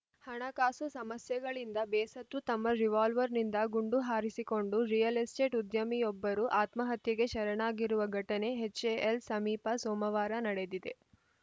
ಹಣಕಾಸು ಸಮಸ್ಯೆಗಳಿಂದ ಬೇಸತ್ತು ತಮ್ಮ ರಿವಾಲ್ವರ್‌ನಿಂದ ಗುಂಡು ಹಾರಿಸಿಕೊಂಡು ರಿಯಲ್‌ ಎಸ್ಟೇಟ್‌ ಉದ್ಯಮಿಯೊಬ್ಬರು ಆತ್ಮಹತ್ಯೆಗೆ ಶರಣಾಗಿರುವ ಘಟನೆ ಎಚ್‌ಎಎಲ್‌ ಸಮೀಪ ಸೋಮವಾರ ನಡೆದಿದೆ